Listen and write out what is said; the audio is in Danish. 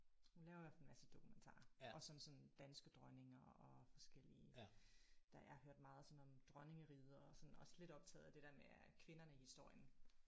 Hun laver i hvert fald en masse dokumentarer også om sådan danske dronninger og forskellige der jeg har hørt meget sådan om dronningeriget og sådan også lidt optaget af det der med er kvinderne i historien